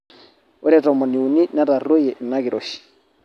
ore tomoniuni netarrueyie ina kiroshi